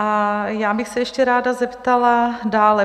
A já bych se ještě ráda zeptala dále.